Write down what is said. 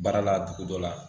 Baara la dugu dɔ la